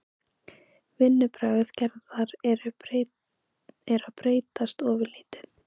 Vinnubrögð Gerðar eru að breytast ofurlítið.